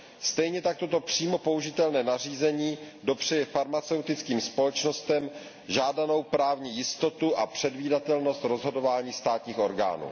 Stejně tak toto přímo použitelné nařízení dopřeje farmaceutickým společnostem žádanou právní jistotu a předvídatelnost rozhodování státních orgánů.